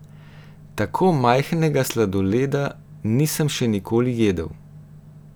Tako majhnega sladoleda nisem še nikoli jedel!